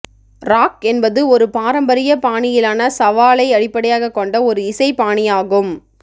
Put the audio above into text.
rock என்பது ஒரு பாரம்பரிய பாணியிலான சவாலை அடிப்படையாகக் கொண்ட ஒரு இசை பாணியாகும்